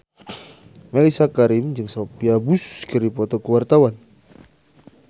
Mellisa Karim jeung Sophia Bush keur dipoto ku wartawan